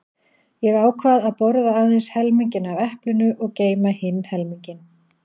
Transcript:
Ég ákvað að borða aðeins helminginn af eplinu og geyma hinn helminginn.